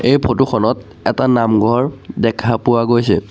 এই ফটো খনত এটা নামঘৰ দেখা পোৱা গৈছে।